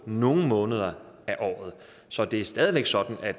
nogle måneder af året så det er stadig væk sådan at